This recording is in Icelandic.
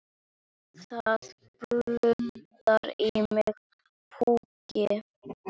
Það blundar í mér púki.